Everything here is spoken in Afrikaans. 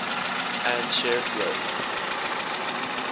and shared growth